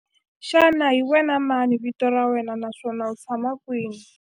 Xana hi wena mani vito ra wena naswona u tshama kwihi?